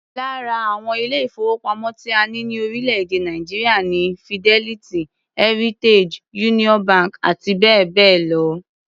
Lára àwọn ilé-ìfowópamọ́ tí a ní ní orílẹ̀-èdè Nàìjíríà ni Fidelity, Heritage, Union bank àti bẹ́ẹ̀ bẹ́ẹ̀ lọ.